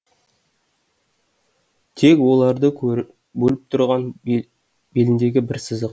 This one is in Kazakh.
тек оларды бөліп тұрған беліндегі бір сызық